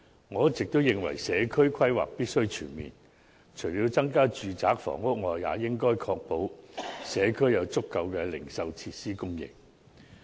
我一直都認為，社區規劃必須全面，除了增加住宅房屋外，也應確保社區有足夠的零售設施供應。